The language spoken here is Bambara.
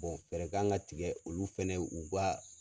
fɛɛrɛ kan ka tigɛ olu fɛnɛ u ka